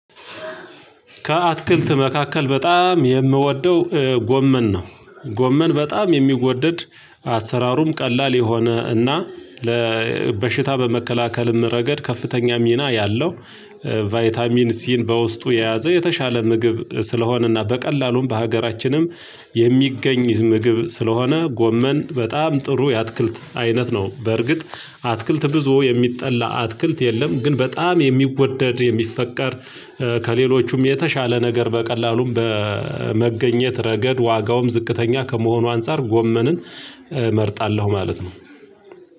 ከአትክልት መካከል በጣም የምወደው ጎመን ነው ጎመን በጣም የሚወደድ አሰራሩም ቀላል የሆነ እና ለ በሽታ በመከላከልም ረገድ ከፍተኛ ሚና ያለው ቫይታሚን ሲን በውስጡ የያዘ የተሻለ ምግብ ስለሆነና በቀላሉም በሀገራችንም የሚገኝ ምግብ ስለሆነ ጎመን በጣም ጥሩ የአትክልት አይነት ነው። በርግጥ አትክልት ብዙ የሚጠላ አትክልት የለም ግን በጣም የሚወደድ የሚፈቀድ ከሌሎቹም የተሻለ ነገር በቀላሉም በመገኘት ረገድ ዋጋውም ዝቅተኛ ከመሆኑ አንፃር ጎመንን እመርጣለሁ ማለት ነው።